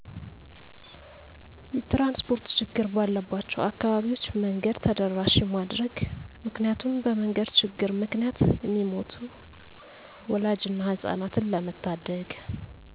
የትራንስፖርት ችግር ባለባቸው አካባቢዎች መንገድ ተደራሺ ማድረግ ምክንያቱም በመንገድ ችግር ምክንያት እሚሞቱ ወላድን እና ህጻናትን ለመታደግ።